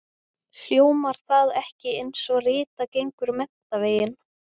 Hljómar það ekki einsog Rita gengur menntaveginn?